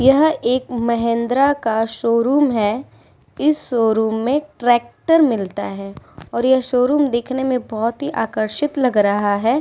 यह एक महिंद्रा का शोरूम है। इस शोरूम में ट्रेक्टर मिलता है और यह शोरूम देखने में बोहोत ही आकर्षित लग रहा है।